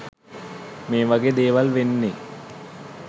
මේවගේ දේවල් වෙන්නෙ